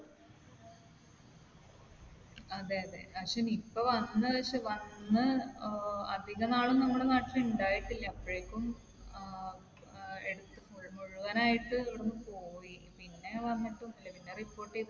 അതെ. അതെ. പക്ഷെ Nipah വന്ന് ഏർ അധിക നാൾ നമ്മുടെ നാട്ടിൽ ഇണ്ടായിട്ടില്ല. അപ്പോഴേക്കും ഏർ എടുത്ത് മുഴുവനായിട്ടും ഇവിടുന്ന് പോയി. പിന്നെ വന്നിട്ടൊന്നുമില്ല. പിന്നെ report ചെയ്തിട്ട്